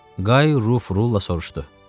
Qay Ruf Rulla soruşdu: